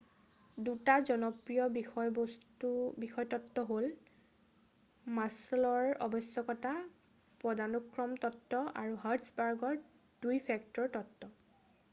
2টা জনপ্ৰিয় বিষয় তত্ত্ব হ'ল মাছল'ৰ আৱশ্যকতা পদানুক্ৰম তত্ত্ব আৰু হাৰ্টছবাৰ্গৰ 2 ফেক্টৰ তত্ত্ব